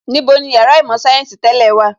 Níbo ni Yàrá īmò sayensi tẹ́lẹ̀ wà?